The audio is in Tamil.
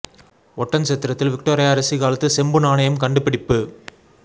ஒட்டன்சத்திரத்தில் விக்டோரியா அரசி காலத்து செம்பு நாணயம் கண்டுபிடிப்பு